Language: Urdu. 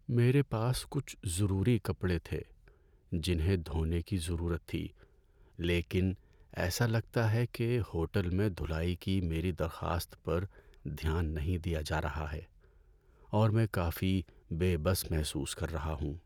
میرے پاس کچھ ضروری کپڑے تھے جنہیں دھونے کی ضرورت تھی لیکن ایسا لگتا ہے کہ ہوٹل میں دھلائی کی میری درخواست پر دھیان نہیں دیا جا رہا ہے اور میں کافی بے بس محسوس کر رہا ہوں۔